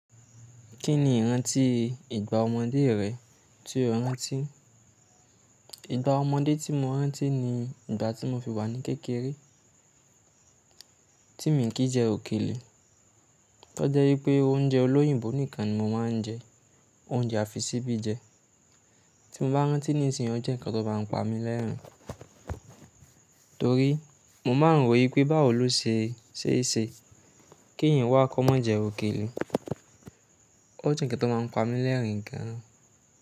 Kí ni ìrántí ìgbà ọmọdé rẹ tí o rántí? Ìgbà ọmọdé tí mo rántí ni ìgbà tí mo fi wà ní kékeré, tí mi ń kìn jẹ òkèlè. Tọ́ jẹ́ wípé oúnjẹ olóyìnbó nìkan ni mo máa n jẹ, oúnjẹ àfisíbí jẹ. Tí mo bá rántí nísìnyí ó jẹ́ nǹkan tó má n pa mi lẹ́ẹ̀rín. Torí mo máa ń rò wi pé bá wò lo se, ṣe é ṣe kí eyan wà kọ́ ma jẹ òkèlè. Ó jẹ́ nǹkan tó má n pa mi lẹ́ẹ̀rín gan.